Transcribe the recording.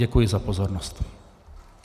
Děkuji za pozornost.